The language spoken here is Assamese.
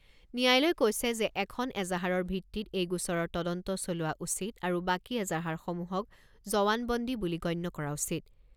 ন্যায়ালয়ে কৈছে যে এখন এজাহাৰৰ ভিত্তিত এই গোচৰৰ তদন্ত চলোৱা উচিত আৰু বাকী এজাহাৰসমূহক জৱানবন্দী বুলি গণ্য কৰা উচিত।